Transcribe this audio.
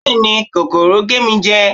béèni kòkòrò gé mi jẹ